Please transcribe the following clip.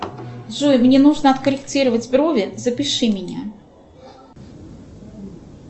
джой мне нужно откорректировать брови запиши меня